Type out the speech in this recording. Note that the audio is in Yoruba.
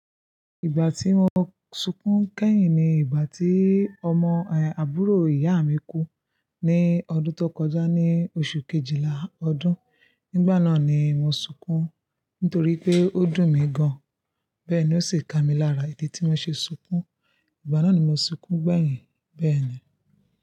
Ìgbà tí mo sunkún kẹ́yìn ni ìgbà tí ọmọ àbúrò ìyá mi kú ní ọdún tó kọjá ní oṣù Kejìlá ọdún. Nígbà náà ni mo sunkún nítorí pé ó dùn mí gan-an. Bẹ́ẹ̀ ni ó sì ka mi lára ìdí tí mo ṣe sunkún. Ìgbà náà ni mo sunkún gbẹ́yìn bẹ́ẹ̀ ni.